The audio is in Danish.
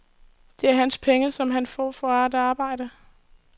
Det er hans penge, som han får for at arbejde.